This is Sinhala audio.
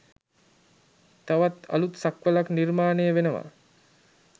තවත් අලුත් සක්වළක් නිර්මාණය වෙනවා.